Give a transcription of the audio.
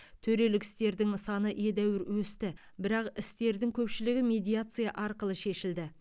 төрелік істердің саны едәуір өсті бірақ істердің көпшілігі медиация арқылы шешілді